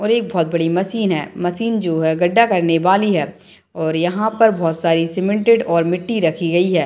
और एक बहुत बड़ी मशीन है मशीन जो है गड्ढा करने वाली है और यहाँ पर बहुत सारे सीमेंटेड और मिट्टी रखी गयी है।